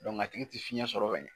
Dɔnku a tigi tɛ fiɲɛ sɔrɔ ka ɲɛn.